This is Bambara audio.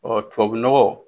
Ɔ tubabu nɔgɔ.